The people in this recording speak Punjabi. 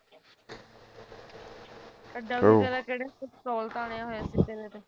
ਇੱਡਾ ਵੀ ਕਿਹੜਾ ਜਿਹੜੇ pistol ਤਾਣੀਆਂ ਹੋਇਆ ਸੀ ਜਿਵੇਂ